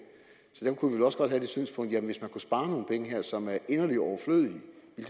så det synspunkt at hvis vi kunne spare nogle penge her som er inderlig overflødige